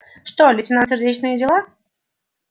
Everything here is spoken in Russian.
что лейтенант сердечные дела